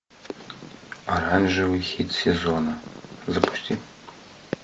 оранжевый хит сезона запусти